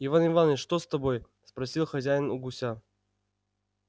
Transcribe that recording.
иван иваныч что с тобой спросил хозяин у гуся